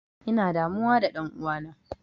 Ina damuwa da ɗan'uwana.